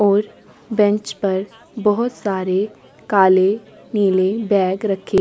और बेंच पर बहुत सारे काले नीले बैग रखे --